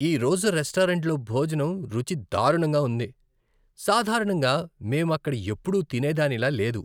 ఈ రోజు రెస్టారెంట్లో భోజనం రుచి దారుణంగా ఉంది. సాధారణంగా మేము అక్కడ ఎప్పుడూ తినేదానిలా లేదు.